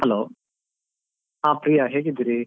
Hello ಹ ಪ್ರಿಯ ಹೇಗಿದ್ದೀರಿ ?